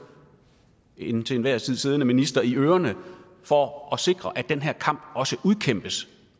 en til enhver tid siddende minister i ørerne for at sikre at den her kamp også udkæmpes